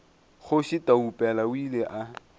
kgoši taupela o ile a